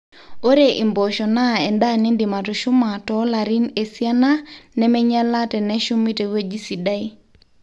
ore impoosho naa endaa niindim atushuma toolarin esiana nemeinyala teneshumi tewueji sidai